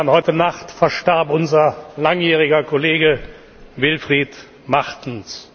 Heute Nacht verstarb unser langjähriger Kollege Wilfried Martens.